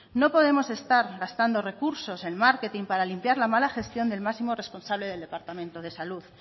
no podemos estar gastando recursos en marketing para limpiar la mala gestión del máximo responsable del departamento de salud